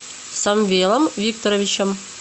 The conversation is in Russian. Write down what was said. самвелом викторовичем